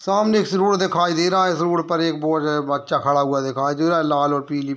सामने इस रोड दिखाई दे रहा है इस रोड पर एक बहुत ज़्यादा बच्चा खड़ा हुआ दिखाई दे रहा है लाल और पीली --